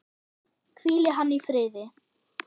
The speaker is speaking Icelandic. Hvíli hann í friði.